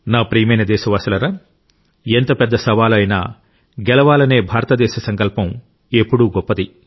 నా ప్రియమైన దేశవాసులారా ఎంత పెద్ద సవాలు అయినా గెలవాలనే భారతదేశ సంకల్పం ఎప్పుడూ గొప్పది